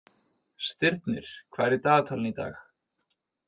Stirnir, hvað er í dagatalinu í dag?